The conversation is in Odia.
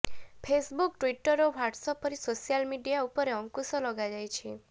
ଫେସବୁକ ଟ୍ୱିଟର ଓ ହ୍ୱାଟ୍ସଆପ ପରି ସୋସିଆଲ ମିଡିଆ ଉପରେ ଅଂକୁଶ ଲଗାଯାଇଛି